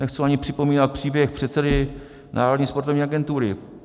Nechci ani připomínat příběh předsedy Národní sportovní agentury.